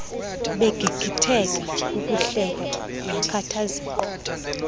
begigitheka kukuhleka yakhathazeka